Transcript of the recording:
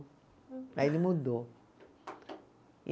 Aí ele mudou.